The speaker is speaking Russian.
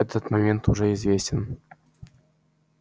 этот момент уже известен